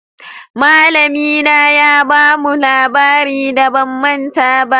Malami na ya ba mu labarin da ba manta ba.